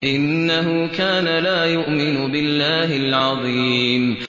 إِنَّهُ كَانَ لَا يُؤْمِنُ بِاللَّهِ الْعَظِيمِ